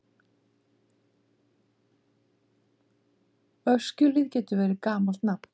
Öskjuhlíð getur verið gamalt nafn.